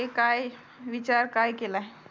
ए काय विचार काय केलाय